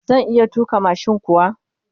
Zan iya tuka mashin kuwa?